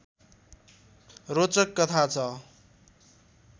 रोचक कथा छ